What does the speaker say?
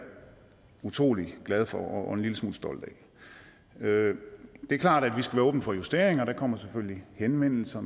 utrolig glad for og en lille smule stolt af det er klart at vi skal være åbne for justeringer der kommer selvfølgelig henvendelser